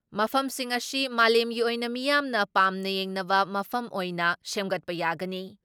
ꯃꯐꯝꯁꯤꯡ ꯑꯁꯤ ꯃꯥꯂꯦꯝꯒꯤ ꯑꯣꯏꯅ ꯃꯤꯌꯥꯝꯅ ꯄꯥꯝꯅ ꯌꯦꯡꯅꯕ ꯃꯐꯝ ꯑꯣꯏꯅ ꯁꯦꯝꯒꯠꯄ ꯌꯥꯒꯅꯤ ꯫